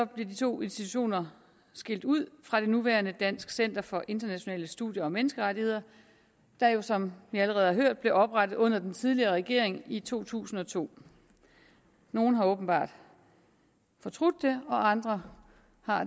bliver de to institutioner skilt ud fra det nuværende dansk center for internationale studier og menneskerettigheder der jo som vi allerede har hørt blev oprettet under den tidligere regering i to tusind og to nogle har åbenbart fortrudt det andre